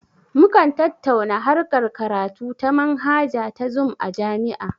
Mukan tattauna harkar karatu ta manhaja ta zum a jami'a